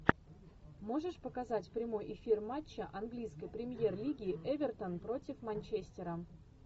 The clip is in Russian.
можешь показать прямой эфир матча английской премьер лиги эвертон против манчестера